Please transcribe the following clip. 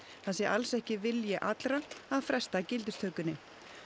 það sé alls ekki vilji allra að fresta gildistökunni